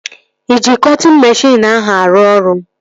Ị ji cọtịn meshịn ahụ arụ ọrụ?